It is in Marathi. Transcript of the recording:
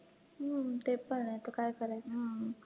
हम्म ते पण आहे आता काय करायचं